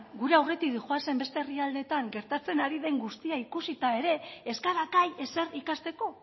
gure aurretik doazen beste herrialdeetan gertatzen ari den guztia ikusita ere ez gara gai ezer ikasteko